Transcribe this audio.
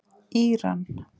Íran